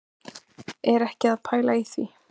Er ekki að pæla í því,